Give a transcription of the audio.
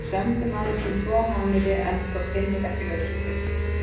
Við sömdum aðeins um tvo mánuði, endurtók Finnur, ekki laus við þykkju.